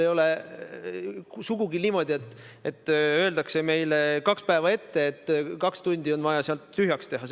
Ei ole sugugi niimoodi, et meile öeldakse kaks päeva ette, et kaks tundi on vaja tollel päeval tühjaks teha.